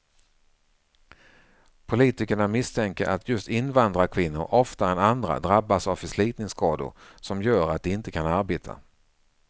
Politikerna misstänker att just invandrarkvinnor oftare än andra drabbas av förslitningsskador som gör att de inte kan arbeta.